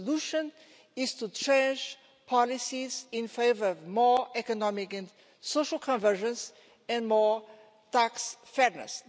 The solution is to change policies in favour of more economic and social convergence and more tax fairness.